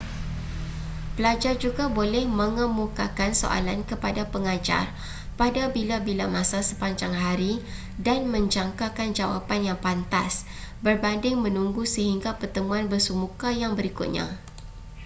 pelajar juga boleh mengemukakan soalan kepada pengajar pada bila-bila masa sepanjang hari dan menjangkakan jawapan yang pantas berbanding menunggu sehingga pertemuan bersemuka yang berikutnya